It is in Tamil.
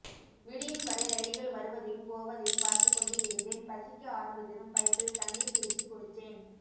விடியும்வரை ரயில்கள் வருவதையும் போவதையும் பார்த்துக் கொண்டு இருந்தேன் பசிக்க ஆரம்பித்ததும் பைப்பில் தண்ணீர் பிடிச்சு குடிச்சேன்